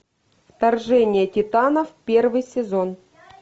вторжение титанов первый сезон